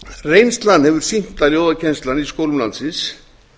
reynslan hefur sýnt að ljóðakennslan í skólum landsins